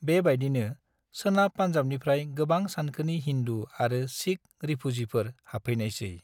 बेबायदिनो, सोनाब पान्जाबनिफ्राय गोबां सानखोनि हिन्दू आरो सिख रिफुजिफोर हाबफैनायसै।